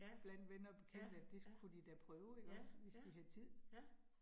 Ja, ja ja, ja ja, ja